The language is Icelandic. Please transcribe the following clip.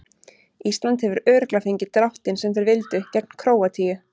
Ísland hefur örugglega fengið dráttinn sem þeir vildu gegn Króatíu.